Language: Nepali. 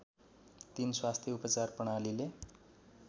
३ स्वास्थ्य उपचार प्रणालीले